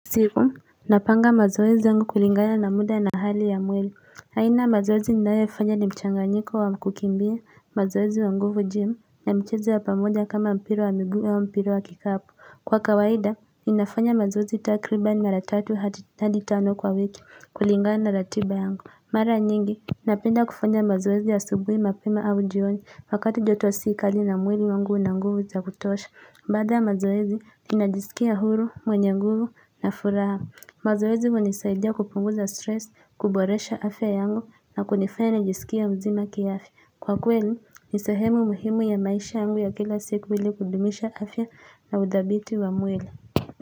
Siku, napanga mazoezi yangu kulingana na mda na hali ya mwili. Aina mazoezi ninayo fanya ni mchanganyiko wa kukimbia, mazoezi ya nguvu-gym, na mchezo wa pamoja kama mpira wa mguu ama mpira wa kikapu. Kwa kawaida, ninafanya mazoezi takriban mara tatu hati, hadi tano kwa wiki kulingana na ratiba yangu. Mara nyingi, napenda kufanya mazoezi ya asubuhi mapema au jioni, wakati joto si kali na mwili wangu una nguvu za kutosha. Baada ya mazoezi ninajisikia huru mwenye nguvu na furaha. Mazoezi hunisaidia kupunguza stress, kuboresha afya yangu na kunifanya nijisikie mzima kiafya. Kwa kweli ni sehemu muhimu ya maisha yangu ya kila siku ili kudumisha afya na uthabiti wa mwili.